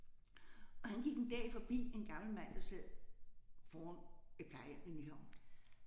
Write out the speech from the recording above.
Og han gik en dag forbi en gammel mand der sad foran et plejehjem i Nyhavn